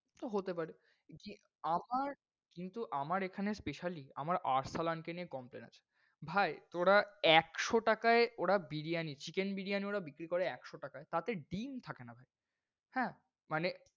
তো হতে পারে। জি আমার কিন্তু আমার এখানে specially আমার আরসালান কে নিয়ে complain আছে ভাই তোরা একশো টাকাই, ওরা বিরিয়ানি বিরিয়ানি ওরা বিক্রি করে একশো টাকাই তাতে ডিম থাকে না। হ্যাঁ, মানে